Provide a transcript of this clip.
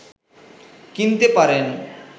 কিনতে পারেন